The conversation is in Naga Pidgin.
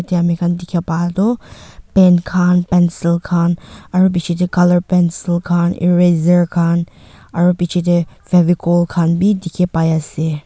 ya ami khan dikhi pa tu pen khan pencil khan aru picche teh colour pencil khan eraser khan aru picche teh fevicol khan be dikhi pai ase.